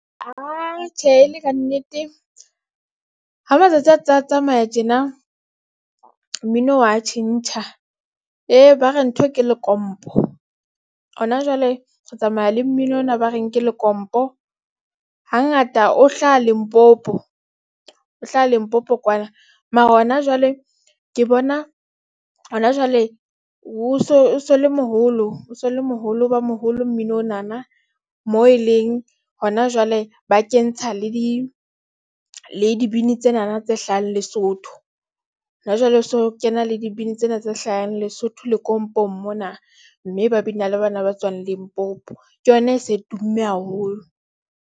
Atjhe e le kannete ha matsatsi a tsa tsamaya tjena mmino wa tjhentjha. Hee, ba re ntho ke lekompo ho na jwale re tsamaya le mmino ona ba reng ke lekompo. Hangata o hlaha Limpopo o hlaha Limpopo kwana mara ho na jwale ke bona ho na jwale o so le moholo, o so le moholo o ba moholo mmino ona na. Moo e leng ho na jwale ba kentsha le di le dibini tsena na tse hlahang Lesotho. Hona jwale ho so kena le dibini tsena tse hlahang Lesotho lekompong mona. Mme ba bina le bana ba tswang Limpopo ke yona e se tumme haholo.